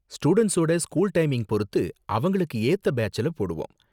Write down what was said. ஸ்டூடண்ட்ஸோட school timing பொருத்து அவங்களுக்கு ஏத்த பேட்ச்ல போடுவோம்.